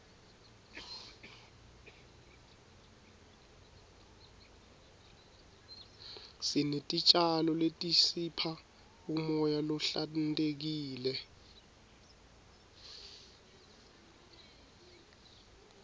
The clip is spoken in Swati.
sinetitjalo letisipha umoya lohlantekile